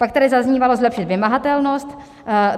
Pak tady zaznívalo zlepšit vymahatelnost.